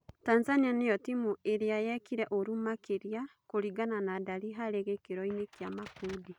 Tanzania nĩ yo timu ĩ rĩ a yekire ũru makĩ ria kũringana na ndari harĩ gĩ kĩ ro kĩ a makundi.